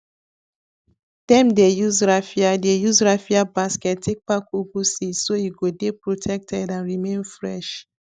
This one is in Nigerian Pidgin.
dem dey use raffia dey use raffia basket take pack ugu seeds so e go dey protected and remain fresh